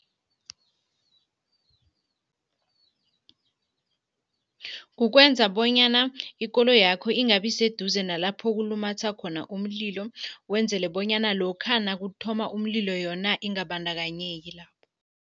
Kukwenza bonyana ikoloyakho ingabi seduze nalapho kulumatha khona umlilo, wenzele bonyana lokha nakuthoma umlilo yona ingabandakanyeki lapho.